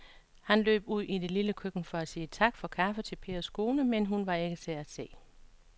Han løb ud i det lille køkken for at sige tak for kaffe til Pers kone, men hun var ikke til at se.